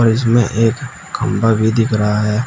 इसमें एक खंभा भी दिख रहा है।